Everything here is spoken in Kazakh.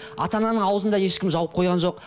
ата ананың аузын да ешкім жауып қойған жоқ